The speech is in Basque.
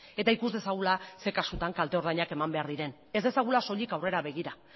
eta ikus dezagula zein kasutan kalte ordainak eman behar diren ez dezagula soilik aurrera begira